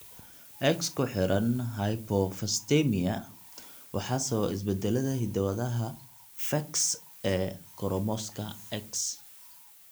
X-ku xiran hypophosphatemia (XLH) waxaa sababa isbeddellada hidda-wadaha PHEX ee koromosoomka X.